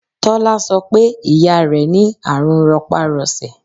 Tọ́lá sọ pé ìyá rẹ ní àrùn ropa-rose.